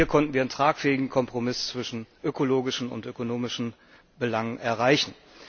Auch hier konnten wir einen tragfähigen Kompromiss zwischen ökologischen und ökonomischen Belangen erreichen.